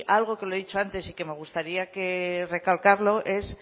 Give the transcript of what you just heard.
algo que lo he dicho antes y que me gustaría recalcarlo es